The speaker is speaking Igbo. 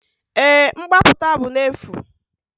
Èé, mgbapụta bụ n'efu.